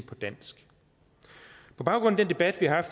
på dansk på baggrund af den debat vi har